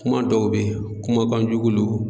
Kuma dɔw be yen, kuma kan jugu don.